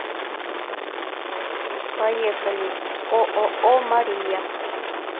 поехали ооо мария